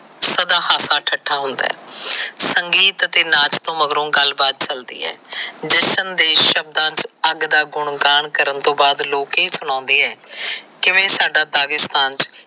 ਸਦਾ ਹਾਸਾ ਠੱਠਾ ਹੁੰਦਾ ਹੈ। ਸੰਗੀਤ ਤੇ ਨਾਚ ਮਗਰੋ ਗੱਲਬਾਤ ਚਲਦੀ ਹੈ। ਜਸ਼ਨ ਦੇ ਸ਼ਬਦਾ ਚ ਅੱਗ ਦਾ ਗੁਣਗਾਨ ਕਰਨ ਤੋ ਬਾਦ ਲੋਕ ਇਹ ਸਣਾਉਦੇ ਆ ਕਿਵੇ ਸਾਡਾ ਦਾਗੀਸਥਾਨ